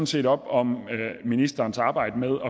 set op om ministerens arbejde med